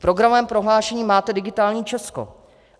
V programovém prohlášení máte digitální Česko.